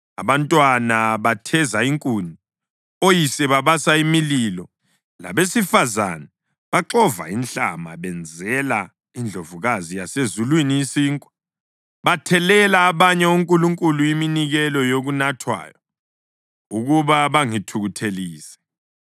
Abantwana batheza inkuni, oyise babasa imililo, labesifazane baxova inhlama benzele iNdlovukazi yaseZulwini isinkwa. Bathelela abanye onkulunkulu iminikelo yokunathwayo ukuba bangithukuthelise.